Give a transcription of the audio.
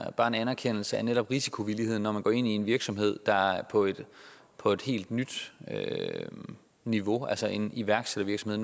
er bare en anerkendelse til netop risikovilligheden når man går ind i en virksomhed der er på et på et helt nyt niveau altså en iværksættervirksomhed